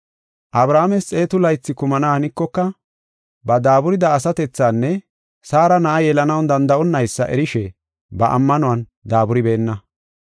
Abrahaames xeetu laythi kumana hanikoka, ba daaburida asatethanne Saara na7a yelanaw danda7onnaysa erishe ba ammanuwan daaburibeenna.